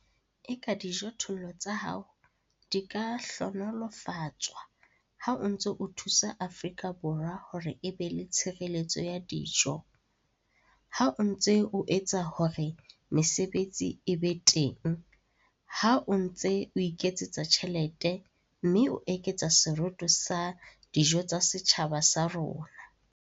Eka dijothollo tsa hao di ka hlohonolofatswa ha o ntse o thusa Afrika Borwa hore e be le tshireletso ya dijo, ha o ntse o etsa hore mesebetsi e be teng, ha o ntse o iketsetsa tjhelete, mme o eketsa seroto sa dijo tsa setjhaba sa rona.